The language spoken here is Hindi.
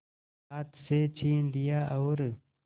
हाथ से छीन लिया और